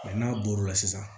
n'a bɔr'o la sisan